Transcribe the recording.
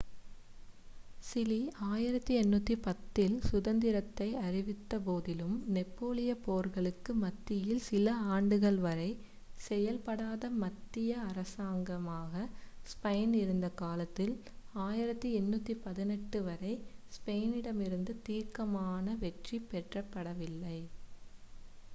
Chile 1810 இல் சுதந்திரத்தை அறிவித்தபோதிலும் நெப்போலியப் போர்களுக்கு மத்தியில் சில ஆண்டுகள் வரை செயல்படாத மத்திய அரசாங்கமாக ஸ்பெயின் இருந்த காலத்தில் 1818 வரை ஸ்பெயினிடமிருந்து தீர்க்கமான வெற்றி பெறப்படவில்லை